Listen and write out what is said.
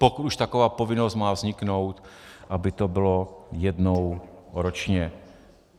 Pokud už taková povinnost má vzniknout, aby to bylo jednou ročně.